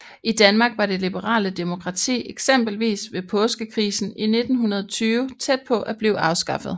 I Danmark var det liberale demokrati eksempelvis ved Påskekrisen i 1920 tæt på at blive afskaffet